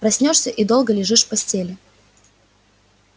проснёшься и долго лежишь в постели